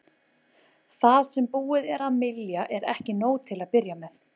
Það sem búið er að mylja er ekki nóg til að byrja með.